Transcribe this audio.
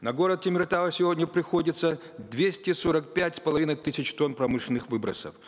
на город темиртау сегодня приходится двести сорок пять с половиной тысяч тонн промышленных выбросов